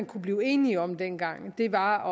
kunne blive enige om dengang var